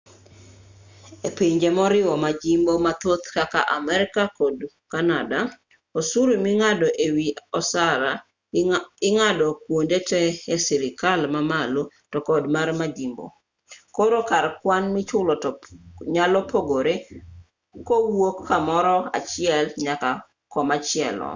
e pinje moriwo majimbo mathoth kaka amerka to kod kanada osuru ming'ado e wi osara ing'ado kuonde te e sirikal mamalo to kod mar majimbo koro kar kwan michulo to nyalo pogore kowuok kamoro achiel nyaka komachielo